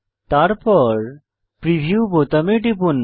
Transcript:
তারপর প্রিভিউ বোতামে টিপুন